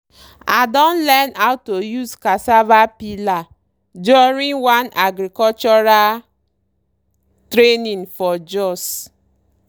i don learn how to use cassava peeler during one agricultural training for jos.